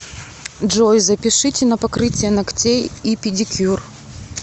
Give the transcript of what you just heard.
джой запишите на покрытие ногтей и педикюр